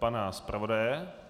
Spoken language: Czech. Pana zpravodaje?